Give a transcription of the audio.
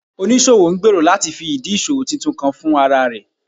Onisowo ngbero lati fi idi iṣowo titun kan fun ara rẹ